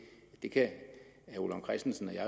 det kan herre ole vagn christensen og jeg